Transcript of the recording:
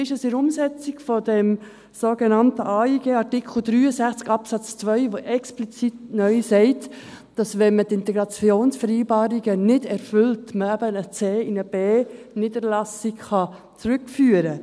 Wie sieht es bei der Umsetzung dieses sogenannten AIG Artikel 63 Absatz 2, der neu explizit sagt, dass man eine C- in eine B-Niederlassung zurückführen kann, wenn man die Integrationskriterien nicht erfüllt?